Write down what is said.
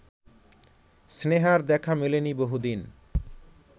স্নেহার দেখা মেলেনি বহুদিন